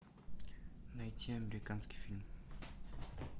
найти американский фильм